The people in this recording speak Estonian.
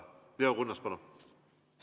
Leo Kunnas, palun!